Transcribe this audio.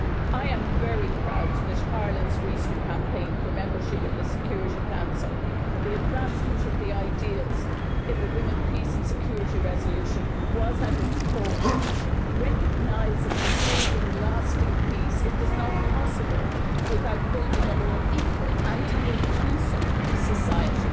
I am very proud that Ireland's recent campaign for membership of the Security Council placed the advancement of the ideals in the resolution on women, peace and security at its core, recognising that building lasting peace is not possible without building a more equal and inclusive society.